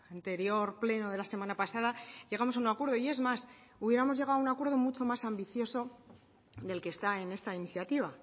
anterior pleno de la semana pasada llegamos a un acuerdo y es más hubiéramos llegado a un acuerdo mucho más ambicioso del que está en esta iniciativa